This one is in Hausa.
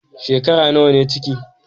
Shekara nawa ne ciki?